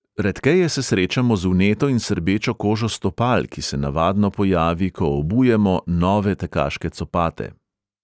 Redkeje se srečamo z vneto in srbečo kožo stopal, ki se navadno pojavi, ko obujemo nove tekaške copate.